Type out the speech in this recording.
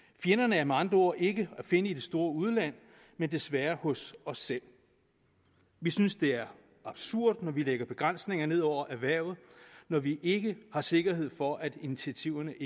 fjenderne er med andre ord ikke at finde i det store udland men desværre hos os selv vi synes det er absurd at vi lægger begrænsninger ned over erhvervet når vi ikke har sikkerhed for at initiativerne